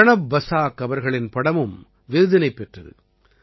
பிரணப் பஸாக் அவர்களின் படமும் விருதினைப் பெற்றது